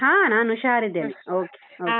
ಹಾ ನಾನ್ ಹುಷಾರಿದ್ದೇನೆ, okay okay .